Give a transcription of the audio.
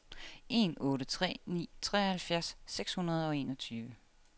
en otte tre ni treoghalvfjerds seks hundrede og enogtyve